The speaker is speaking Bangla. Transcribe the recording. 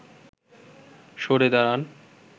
সরে দাঁড়ান